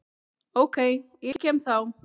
OK, ég kem þá!